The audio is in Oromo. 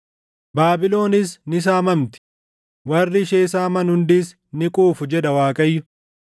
Baabilonis ni saamamti; warri ishee saaman hundis ni quufu” jedha Waaqayyo.